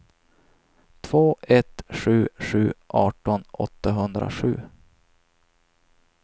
två ett sju sju arton åttahundrasju